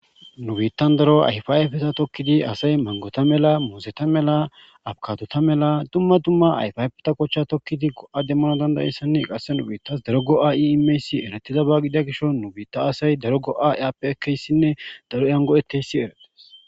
Nu biitta daro ayfe ayifeta tokkidi asay mangotu mela, muuzeta mela, abkaadota mela dumma dumma ayfe kochchata asay tokkidi go'a demmana dandayes. Qassikka nu biitta daro go'a immiya issi erettidaba gidiyasho nu biitta asay daro go'ay appe ekkishene daroy ani go'ettes.